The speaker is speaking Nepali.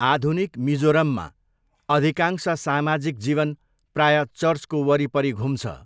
आधुनिक मिजोरममा, अधिकांश सामाजिक जीवन प्रायः चर्चको वरिपरि घुम्छ।